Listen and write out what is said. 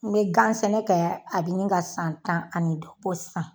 N be gan sɛnɛ kɛ a be ɲini ka san tan ani duuru bɔ sisan